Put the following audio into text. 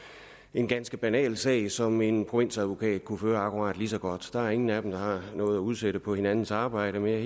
en ganske banal sag som en provinsadvokat kunne føre akkurat lige så godt der er ingen af dem der har noget at udsætte på hinandens arbejde men jeg